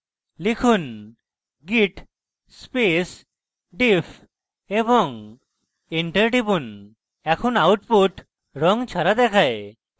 লিখুন git space diff এবং enter টিপুন এখন output রঙ ছাড়া দেখায়